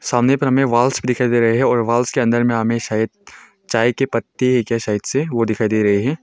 सामने पर हमें वॉल्स भी दिखाई दे रहा है और वॉल्स के अंदर में अमे सायद चाय की पत्ते है क्या सायद से वो दिखाई दे रहे हैं।